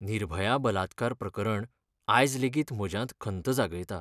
निर्भया बलात्कार प्रकरण आयज लेगीत म्हज्यांत खंत जागयता.